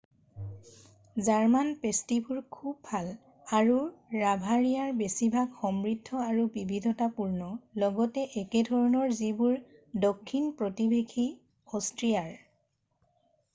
German পেষ্ট্ৰিবোৰ খুব ভাল আৰু বাভাৰিয়াৰ বেছিভাগে সমৃদ্ধ আৰু বিবিধতাপূৰ্ণ ,লগতে একেধৰণৰ যিবোৰ দক্ষিণ প্ৰতিবেশী অষ্ট্ৰিয়াৰ।